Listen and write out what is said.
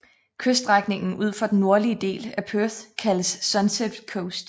Kyststrækningen ud for den nordlige del af Perth kaldes Sunset Coast